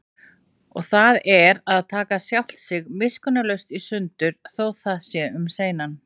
Og það er að taka sjálft sig miskunnarlaust í sundur, þótt það sé um seinan.